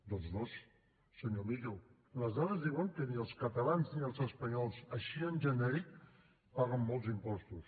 doncs no senyor millo les dades diuen que ni els catalans ni els espanyols així en genèric paguen molts impostos